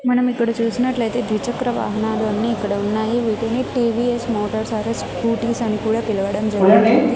మనం ఇక్కడ చూసినట్లయితే ద్విచక్ర వాహనాలన్నీ ఇక్కడ ఉన్నాయి వీటిని టీ_వీ_ఎస్ మోటార్స్ సర్వీస్ స్కూటీస్ అని పిలవడం జరుగుతుంది.